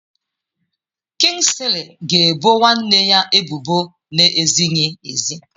Kingsley ga ebo nwanne ya ebubo na-ezighị ezi